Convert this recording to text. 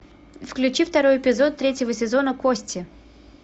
включи второй эпизод третьего сезона кости